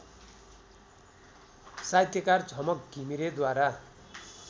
साहित्यकार झमक घिमिरेद्वारा